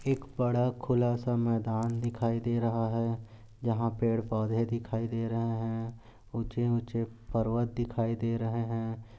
एक बड़ा खुलासा मैदान दिखाई दे रहा है जहां पेड पौंधे दिखाई दे रहे है। ऊंचे ऊंचे पर्वत दिखाई दे रहे है।